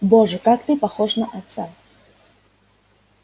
боже как ты похож на отца